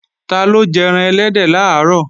Taló jẹ́ran ẹlẹ́dẹ̀ làárọ̀?